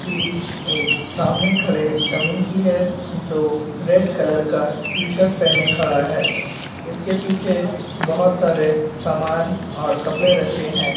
यह एक सामने खड़े डमी की है जो रेड कलर का टीशर्ट पहने खड़ा है | इसके पीछे बहोत सारे सामान और कपड़े रखे हैं ।